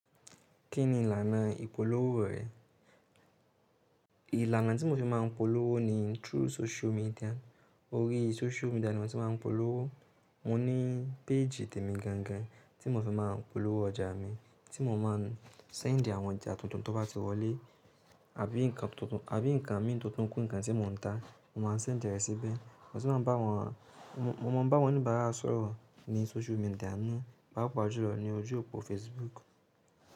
Kí ni ìlànà ìpolówó rẹ? Ìlànà tí mo fi máa ń polówó ni through social media. Orí social media ni mo ti máa ń polówó. Mo ní page tèmi gangan tí mo fi máa ń polówó ọjà mi, tí mo máa ń send àwọn ọjà tuntun tó bá ti wọlé àbí nǹkan tuntun, àbí nǹkan mi tuntun kú nǹkan tí mò ń ta. Mo máa ń send ẹsí bẹ́ẹ̀. Mo sì máa ń bá wọn, mo máa ń bá wọn onibàárà sọ̀rọ̀ ní social media náà, pàpá júlọ ni ojú òpó Facebook.